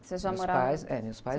Meus pais...ocê já morava..., meus pais...